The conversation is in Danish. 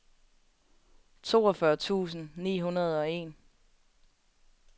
toogfyrre tusind ni hundrede og en